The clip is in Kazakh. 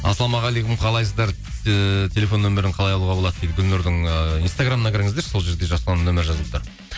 ассалаумағалейкум қалайсыздар ыыы телефон нөмірін қалай алуға болады дейді гүлнұрдың ыыы инстаграмына кіріңіздерші сол жерде жасұланның нөмірі жазылып тұр